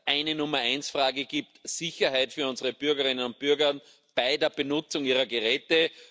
eine Nummer eins Frage gibt Sicherheit für unsere Bürgerinnen und Bürger bei der Benutzung ihrer Geräte.